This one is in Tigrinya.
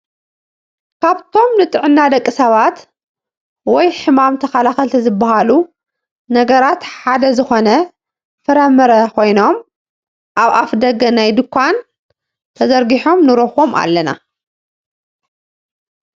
ካብቶም ንጥዕና ደቂ ሰባት ወይ ሕማም ተከላከልቲ ዝበሃሉ ነገራት ሓደ ዝኮነ ፍረ ምረ ኮይኖም አብ አፍ ደገ ናይ ዱካን ተዘርጊሖም ንረክቦም አለና::